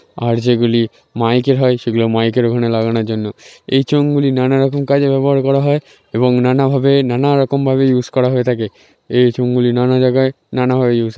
আর যেগুলি মাইকে হয় সেগুলো মাইকের ওখানে লাগানোর জন্য এই চোঙগুলি নানা রকম কাজে ব্যবহার করা হয় এবং নানাভাবে নানা রকম ভাবে ইউজ করা হয়ে থাকে এই চং গুলি নানা জায়গায় নানা ভাবে।